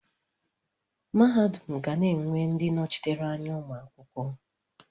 Mahadum ga na-enwe ndị nnọchiteanya ụmụ akwụkwọ.